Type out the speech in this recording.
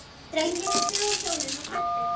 Drengirnir stigu á hjólin og kvöddu.